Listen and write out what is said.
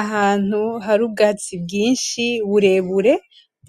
Ahantu hari ubwatsi bwinshi burebure